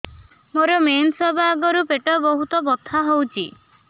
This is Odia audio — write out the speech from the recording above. ମୋର ମେନ୍ସେସ ହବା ଆଗରୁ ପେଟ ବହୁତ ବଥା ହଉଚି